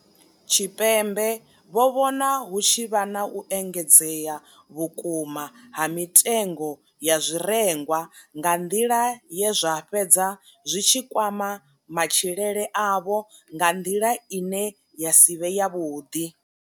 Tshipembe vho vhona hu tshi vha na u engedzea vhukuma ha mitengo ya zwirengwa nga nḓila ye zwa fhedza zwi tshi kwama matshilele avho nga nḓila ine ya si vhe yavhuḓi.